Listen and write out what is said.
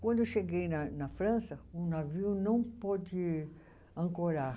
Quando eu cheguei na na França, o navio não pôde ancorar.